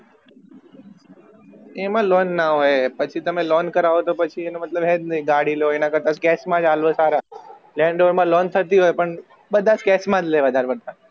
એમાં loan ના હોય પછી તમે લોન કરો તો પછી એનો મતલબ હૈજ નહિ ગાડી લો એના કરતાં cash અલવા જ સારા land rover મા loan થતી હોય પણ બધા cash વધાર પડતા